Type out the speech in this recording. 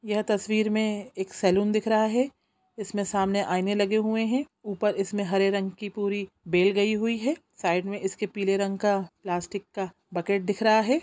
यह तस्वीर में एक सलून दिख रहा है| इसमें सामने आईने लगे हुए हैं ऊपर इसमें हरे रंग की पूरी बेल गई हुई है साइड में इसके पीले रंग का प्लास्टिक का बकेट दिख रहा है।